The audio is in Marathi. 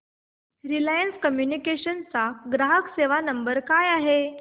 रिलायन्स कम्युनिकेशन्स चा ग्राहक सेवा नंबर काय आहे